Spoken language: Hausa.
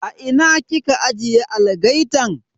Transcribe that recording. A ina kika ajiye algaitan?